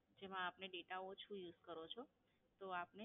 જેમાં આપને Data ઓછો Use કરો છો, તો આપને